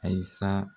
Ayi sa